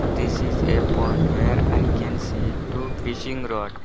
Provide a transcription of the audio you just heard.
This is a pond where i can see two fishing rod.